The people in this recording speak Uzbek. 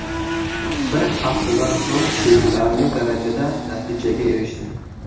Bir haftadan so‘ng sezilarli darajada natijaga erishdim.